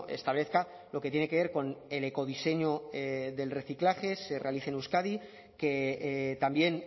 establezca lo que tiene que ver con el ecodiseño del reciclaje se realice en euskadi que también